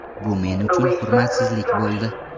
Bu men uchun hurmatsizlik bo‘ldi.